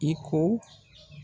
I ko.